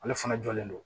Ale fana jɔlen don